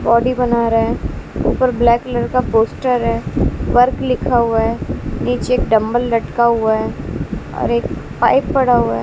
Body बना रहे ऊपर ब्लैक कलर का पोस्टर है वर्क लिखा हुआ है नीचे डंबल लटका हुआ है और एक पाइप पड़ा हुआ है।